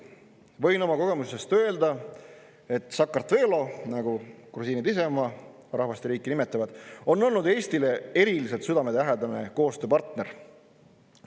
Võin oma kogemusest öelda, et Sakartvelo, nagu grusiinid ise oma rahvast ja riiki nimetavad, on olnud Eestile eriliselt südamelähedane koostööpartner.